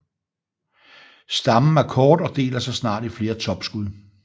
Stammen er kort og deler sig snart i flere topskud